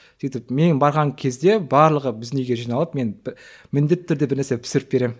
сөйтіп мен барған кезде барлығы біздің үйге жиналып мен міндетті түрде бір нәрсе пісіріп беремін